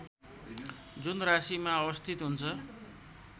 जुन राशीमा अवस्थित हुन्छ